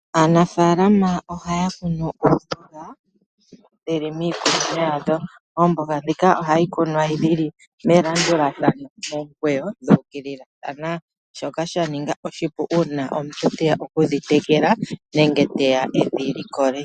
Aanafaalama ohaya kunu oomboga, dhili miikunino yadho. Oomboga ndhika ohadhi kunwa dhili melandulathano, momukweyo dhuukililathana. Shoka sha ninga oshipu uuna omuntu teya okudhi tekela nenge teya edhi likole.